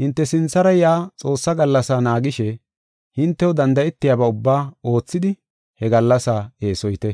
Hinte sinthara yaa Xoossaa gallasaa naagishe hintew danda7etiyaba ubbaa oothidi he gallasaa eesoyite.